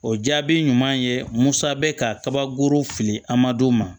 O jaabi ɲuman ye musa bɛ kabakurun fili a ma d'o ma